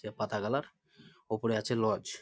দিয়ে পাতা কালার ওপরে আছে লজ |